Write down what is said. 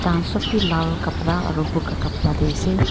Thakhan sob bhi lal kapra aro buka kapra dae ase.